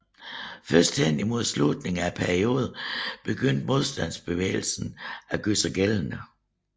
Først hen i mod slutningen af perioden begyndte modstandsbevægelsen at gøre sig gældende